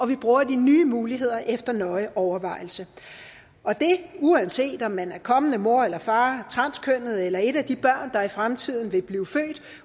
vi bruger de nye muligheder efter nøje overvejelse og det er uanset om man er kommende mor eller far transkønnet eller er et af de børn der i fremtiden vil blive født